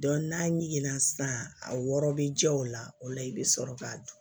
n'a ye na sisan a wɔrɔ bɛ jɛ o la o la i bɛ sɔrɔ k'a dun